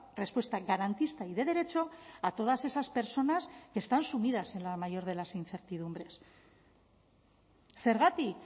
respuesta garantista y de derecho a todas esas personas que están sumidas en la mayor de las incertidumbres zergatik